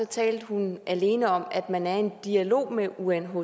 talte hun alene om at man er i en dialog med unhcr